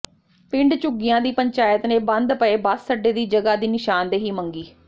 ਪਿੰਡ ਝੁੱਗੀਆਂ ਦੀ ਪੰਚਾਇਤ ਨੇ ਬੰਦ ਪਏ ਬੱਸ ਅੱਡੇ ਦੀ ਜਗ੍ਹਾ ਦੀ ਨਿਸ਼ਾਨਦੇਹੀ ਮੰਗੀ